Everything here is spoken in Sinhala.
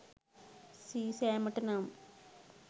සීසෑමට නම්